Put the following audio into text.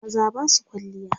maza Basu kwalliya